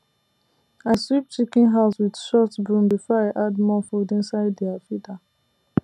i sweep chicken house with short broom before i add more food inside their feeder